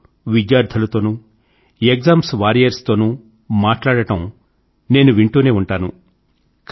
మీరు విద్యార్థులతోనూ exams warriors తోనూ మీరు మాట్లాడడం నేను వింటూనే ఉంటాను